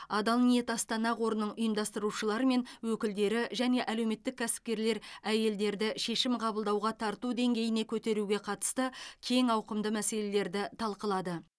адал ниет астана қорының ұйымдастырушылары мен өкілдері және әлеуметтік кәсіпкерлер әйелдерді шешім қабылдауға тарту деңгейіне көтеруге қатысты кең ауқымды мәселелерді талқылады